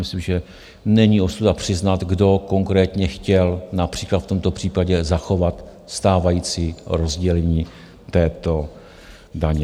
Myslím, že není ostuda přiznat, kdo konkrétně chtěl například v tomto případě zachovat stávající rozdělení této daně.